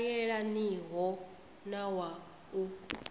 sa yelaniho na wa u